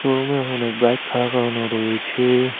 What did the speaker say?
রুমে অনেক বাইক খাড়া করানো রয়েছে।